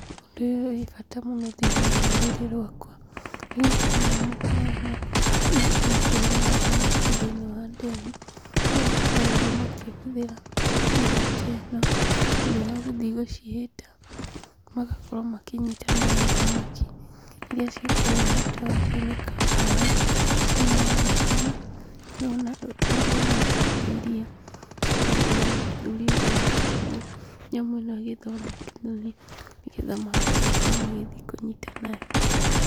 Ũndũ ũyũ wĩ bata mũno thĩinĩ wa rĩrĩrĩ rwakwa, nĩgũkorwo andũ nĩmakoragwo makĩrĩma thamaki thĩinĩ wa ndemu, kũrĩa makoragwo makĩhũthĩra nyamũ ta ĩno, nĩũndũ wagũthiĩ gũcihĩta, magakorwo makĩnyita nayo thamaki iria ciĩkũrĩa gatagatĩ-inĩ ka maaĩ. Thĩinĩ wa mbica ĩno, ndĩrona rĩrĩa tarĩ iria, ngacoka ngona mũthuri ũyũ anyitĩte nyamũ ĩno agĩthondekania, nĩgetha mahote gũkorwo magĩthiĩ kũnyita nayo.